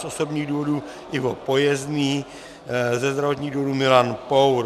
Z osobních důvodů Ivo Pojezdný, ze zdravotních důvodů Milan Pour.